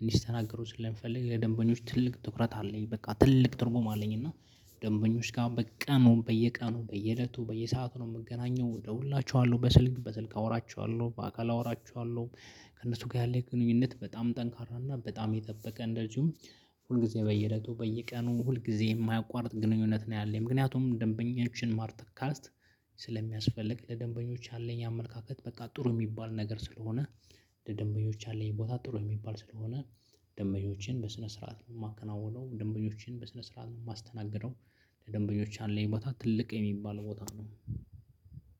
እንዲስተናገሩ ስለምፈልግ የደንበኞች ትልቅ ትኩረት አለኝ። በቃ ትልቅ ትርጉም አለኝ። እና ደንበኞች ጋር በየቀኑ ነው በየቀኑ በየእለቱ በየሰአቱ ነው የምገናኘው ወደ ሁላችኋለሁ በስልክ በስልክ አወራችኋለሁ በአካል አወራችኋለሁ። ከእነሱ ጋር ያለው ግንኙነት በጣም ጠንካራ እና በጣም የጠበቀ እንደዚሁም ሁልጊዜ በየለቱ በየቀኑ ሁል ጊዜ የማያቋርጥ ግንኙነት ነው። ያለኝ ምክንያቱም ደንበኞችን ማርተካስት ስለሚያስፈልግ ለደንበኞች ያለኝ አመለካከት በቃ ጥሩ የሚባል ነገር ስለሆነ። ለደንበኞች ያለኝ ቦታ ጥሩ የሚባል ስለሆነ። ደንበኞችን በስነ ስርዓት ነው የማከናውነው ደንበኞችን በስነ ስርዓት ነው የማስተናግደው። ለደንበኞች ያለኝ ቦታ ትልቅ የሚባል ቦታ ነው።